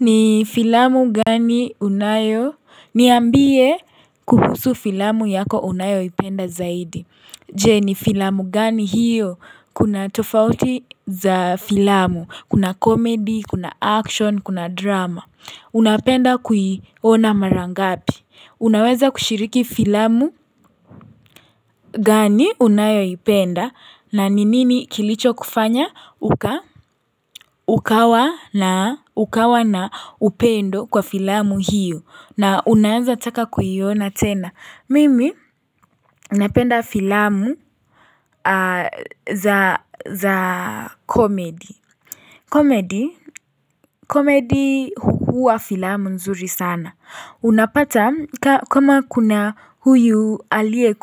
Ni filamu gani unayo niambie kuhusu filamu yako unayoipenda zaidi Je, ni filamu gani hiyo kuna tofauti za filamu. Kuna komedi, kuna action, kuna drama. Unapenda kuiona mara ngapi? Unaweza kushiriki filamu gani unayoipenda na ni nini kilichokufanya ukawa na upendo kwa filamu hiyo na unaanza taka kuiona tena? Mimi napenda filamu za comedy. Comedy huwa filamu nzuri sana. Unapata kama kuna huyu alieye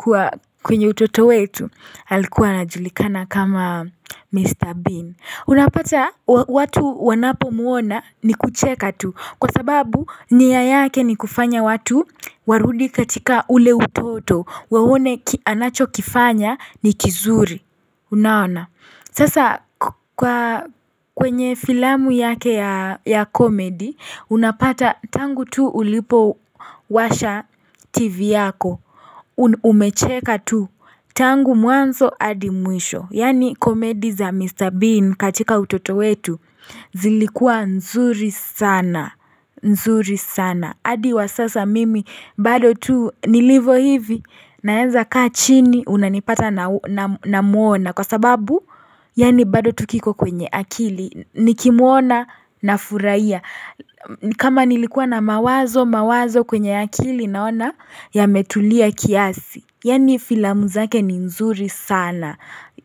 kwenye utoto wetu alikuwa anajulikana kama Mr. Bean. Unapata watu wanapomuona ni kucheka tu. Kwa sababu nia yake ni kufanya watu warudi katika ule utoto waone anacho kifanya ni kizuri Unaona? Sasa kwenye filamu yake ya comedy, unapata tangu tu ulipowasha TV yako Umecheka tu tangu mwanzo hadi mwisho. Yaani comedy za Mr. Bean katika utoto wetu zilikuwa nzuri sana, nzuri sana adi wa sasa mimi bado tu nilivo hivi naenza kaa chini unanipata na muona kwa sababu Yaani bado tu kiko kwenye akili, nikimuona nafurahia kama nilikuwa na mawazo mawazo kwenye ya kili naona ya metulia kiasi yaani filamu zake ni nzuri sana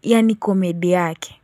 yaani komedi yake.